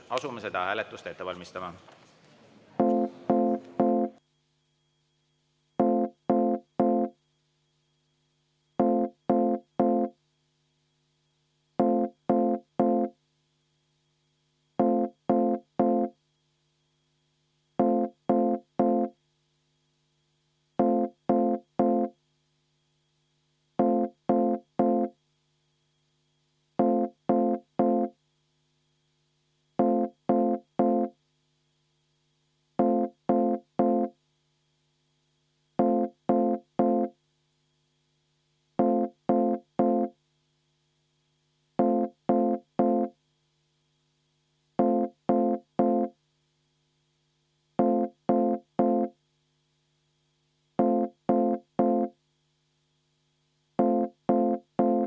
Asume seda hääletust ette valmistama.